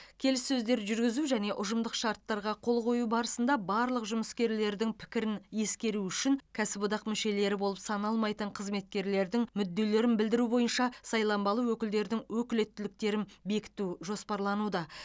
келіссөздер жүргізу және ұжымдық шарттарға қол қою барысында барлық жұмыскерлердің пікірін ескеру үшін кәсіподақ мүшелері болып саналмайтын қызметкерлердің мүдделерін білдіру бойынша сайланбалы өкілдердің өкілеттіктерін бекіту жоспарлануда